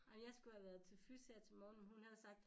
Ej jeg skulle have været til fys her til morgen men hun havde sagt